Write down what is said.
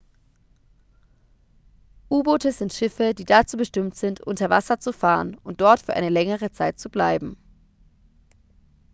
u-boote sind schiffe die dazu bestimmt sind unter wasser zu fahren und dort für eine längere zeit zu bleiben